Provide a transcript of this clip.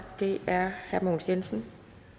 det er herre mogens jensen